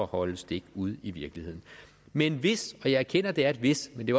holde stik ude i virkeligheden men hvis og jeg erkender at det er et hvis men det